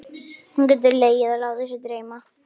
Hún getur legið og látið sig dreyma.